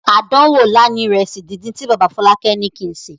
Àdánwò ńlá ni ìrẹsì díndín tí bàbá Fọlákẹ́ ní kí n sè.